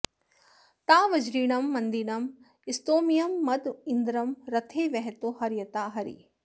ता वज्रिणं मन्दिनं स्तोम्यं मद इन्द्रं रथे वहतो हर्यता हरी